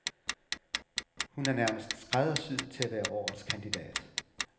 Hun er nærmest skræddersyet til at være årets kandidat.